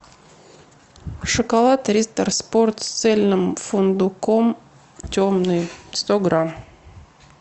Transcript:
шоколад риттер спорт с цельным фундуком темный сто грамм